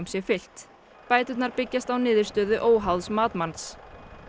sé fylgt bæturnar byggjast á niðurstöðu óháðs matsmanns